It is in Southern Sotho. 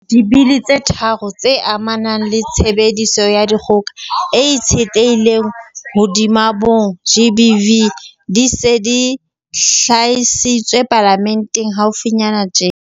Dibili tse tharo tse amanang le tshebediso ya dikgoka e itshetlehileng hodima bong, GBV, di se di hlahisitswe Palamenteng haufinyana tjena.